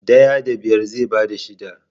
Daya da biyar zai bada shida.